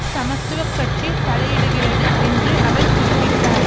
சமத்துவ கட்சி தலையிடுகிறது என்று அவர் குறிப்பிட்டார்